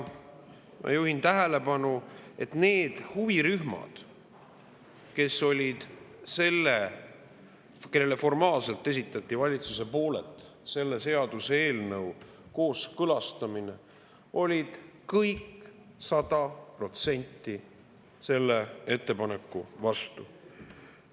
Ma juhin tähelepanu, et need huvirühmad, kellele formaalselt esitati valitsuse poolelt selle seaduseelnõu kooskõlastamine, olid kõik sada protsenti selle vastu.